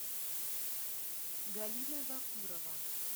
галина вакурова